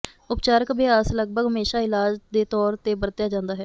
ਉਪਚਾਰਕ ਅਭਿਆਸ ਲਗਭਗ ਹਮੇਸ਼ਾ ਇਲਾਜ ਦੇ ਤੌਰ ਤੇ ਵਰਤਿਆ ਜਾਂਦਾ ਹੈ